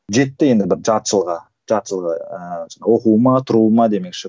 жетті енді бір жарты жылға жарты жылға ыыы оқуыма тұруыма демекші